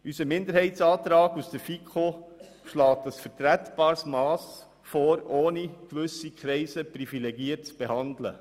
Unser Minderheitsantrag aus der FiKo schlägt ein vertretbares Mass vor, ohne gewisse Kreise privilegiert zu behandeln.